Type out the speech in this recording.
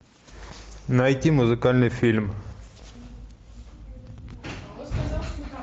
найти музыкальный фильм